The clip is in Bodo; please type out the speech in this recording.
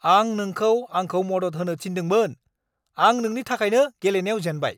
आं नोंखौ आंखौ मदद होनो थिन्दोंमोन! आं नोंनि थाखायनो गेलेनायाव जेनबाय!